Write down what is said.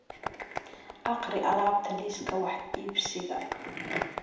akhri alaabta liiska wax iibsiga